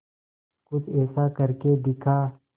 कुछ ऐसा करके दिखा